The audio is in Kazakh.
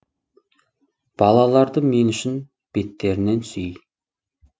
балаларды мен үшін беттерінен сүй